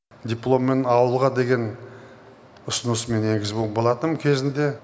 дипломмен ауылға деген ұсыныс мен енгізген болатынмын кезінде